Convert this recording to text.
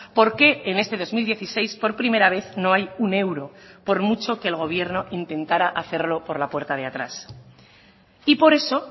porque en este dos mil dieciséis por primera vez no hay un euro por mucho que el gobierno intentara hacerlo por la puerta de atrás y por eso